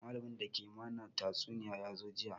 Malamin da ke mana tatsuniya ya zo jiya